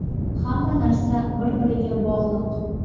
Hamma narsa bir-biriga bog‘liq.